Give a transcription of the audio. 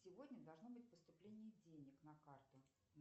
сегодня должно быть поступление денег на карту